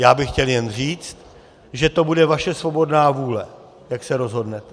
Já bych chtěl jen říct, že to bude vaše svobodná vůle, jak se rozhodnete.